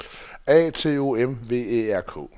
A T O M V Æ R K